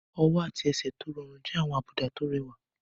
Ọwọ́ àti ẹsẹ̀ tó rọrùn jẹ́ àwọn àbùdá tó rẹwà.